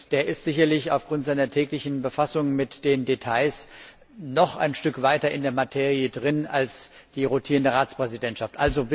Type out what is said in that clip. Er ist sicherlich aufgrund seiner täglichen Befassung mit den Details noch ein Stück weiter mit der Materie vertraut als die rotierende Ratspräsidentschaft.